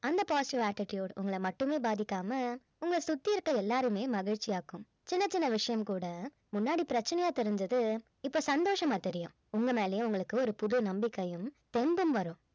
அந்த positive attitude உங்கள மட்டுமே பாதிக்காம உங்கள சுத்தி இருக்க எல்லாரையுமே மகிழ்ச்சியாக்கும் சின்ன சின்ன விஷயம் கூட முன்னாடி பிரச்சனையா தெரிஞ்சது இப்ப சந்தோஷமா தெரியும் உங்க மேலயே உங்களுக்கு ஒரு புது நம்பிக்கையும் தெம்பும் வரும்